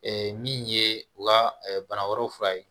min ye u ka bana wɛrɛw fura ye